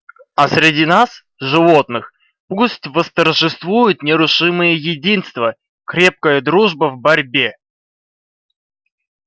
а среди нас животных пусть восторжествует нерушимое единство крепкая дружба в борьбе